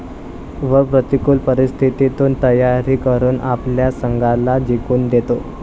व प्रतिकूल परिस्थितीतून तयारी करून आपल्या संघाला जिंकून देतो.